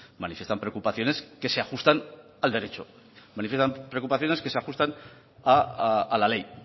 manifiestan preocupaciones que se ajustan al derecho manifiestan preocupaciones que se ajustan a la ley